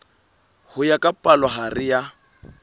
ho ya ka palohare ya